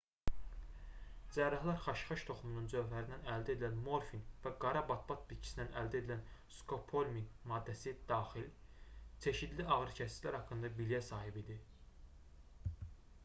cərrahlar xaşxaş toxumunun cövhərindən əldə edilən morfin və qara batbat bitkisindən əldə edilən skopolomin maddəsi daxil çeşidli ağrıkəsicilər haqqında biliyə sahib idi